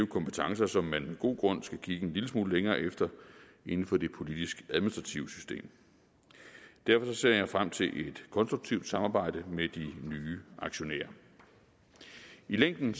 kompetencer som man med god grund skal kigge en lille smule længere efter inden for det politisk administrative system derfor ser jeg frem til et konstruktivt samarbejde med de nye aktionærer i længden